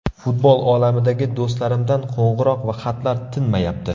Futbol olamidagi do‘stlarimdan qo‘ng‘iroq va xatlar tinmayapti.